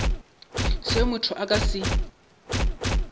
seo motho a ka se